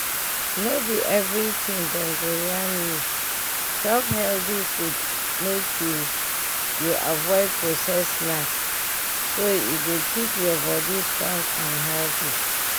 no be everything dem go yarn you chop health food make you you avoid processed snacks so e go keep your body strong and healthy.